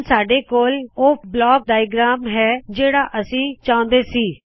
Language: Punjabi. ਹੁਣ ਸਾੱਡੇ ਕੋਲ ਓਹ ਬਲਾਕ ਡਾਇਆਗ੍ਰੈਮ ਹੈ ਜਿਹੜਾ ਅਸੀ ਚਾਹੁਂਦੇ ਸੀ